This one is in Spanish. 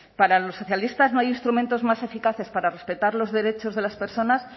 para los socialistas no hay instrumentos más eficaces para respetar los derechos de las personas